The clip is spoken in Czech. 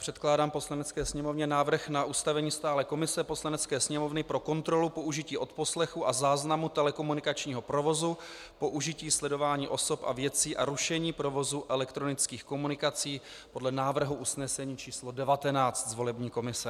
Předkládám Poslanecké sněmovně návrh na ustavení stálé komise Poslanecké sněmovny pro kontrolu použití odposlechu a záznamu telekomunikačního provozu, použití sledování osob a věcí a rušení provozu elektronických komunikací podle návrhu usnesení číslo 19 z volební komise.